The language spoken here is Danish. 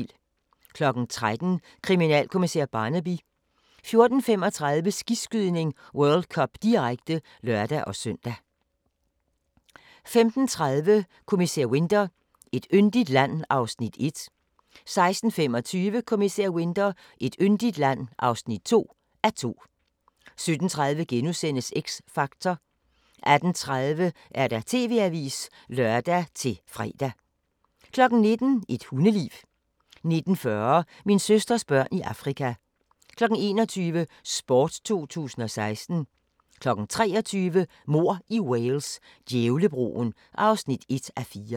13:00: Kriminalkommissær Barnaby 14:35: Skiskydning: World Cup, direkte (lør-søn) 15:30: Kommissær Winter: Et yndigt land (1:2) 16:25: Kommissær Winter: Et yndigt land (2:2) 17:30: X Factor * 18:30: TV-avisen (lør-fre) 19:00: Et hundeliv 19:40: Min søsters børn i Afrika 21:00: Sport 2016 23:00: Mord i Wales: Djævlebroen (1:4)